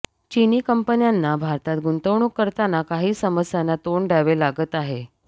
चिनी कंपन्यांना भारतात गुंतवणूक करताना काही समस्यांना तोंड द्यावे लागत आहे